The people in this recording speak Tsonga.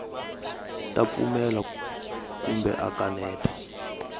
ta pfumela kumbe a kaneta